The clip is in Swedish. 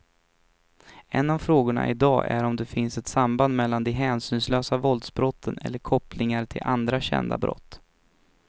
En av frågorna i dag är om det finns ett samband mellan de hänsynslösa våldsbrotten eller kopplingar till andra kända brott.